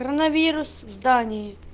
коронавирус в здании